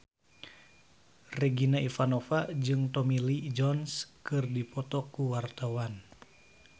Regina Ivanova jeung Tommy Lee Jones keur dipoto ku wartawan